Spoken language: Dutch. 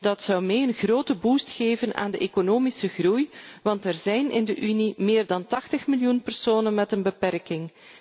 Dat zou een grote boost geven aan de economische groei, want er zijn in de Unie meer dan 80 miljoen personen met een beperking.